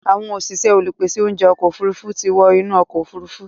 Àwọn òṣìṣẹ́ olùpèsè oúnjẹ ọkọ̀ òfurufú ti wọ́ inú ọkọ̀ òfuru